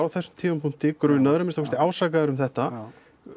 á þessum tímapunkti grunaður að minnsta kosti ásakaður um þetta